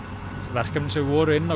verkefni sem voru inná